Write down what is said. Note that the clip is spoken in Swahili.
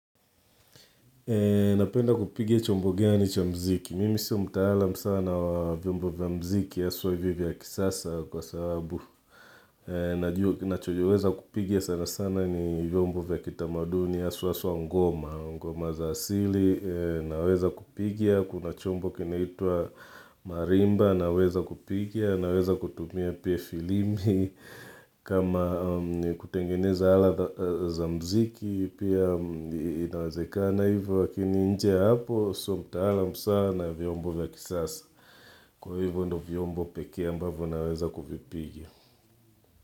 Napenda kupiga chombo gani cha mziki. Mimi si mtaalam sana wa vyombo vya mziki haswa hivi vya kisasa kwa sababu. Nacho jiweza kupigia sana sana ni vyombo vya kitamadu ni ya suwa suwa ngoma. Ngoma za asili, naweza kupigia, kuna chombo kinaitua marimba, naweza kupigia, naweza kutumia pia filimi. Kama kutengeneza ala za mziki pia inawezeka na hivyo wakini nje hapo so mta ala msa na vyombo vya kisasa kwa hivyo ndo vyombo peke ambavyo naweza kuvipigia.